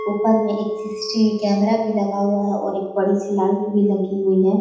ऊपर में एक सी.सी.टी.वी. कैमरा भी लगा हुआ है और एक बड़ी-सी लाइट भी लगी हुई है।